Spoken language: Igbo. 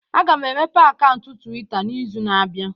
Aga m emepe akaụntụ Twitta n'izu na-abịa.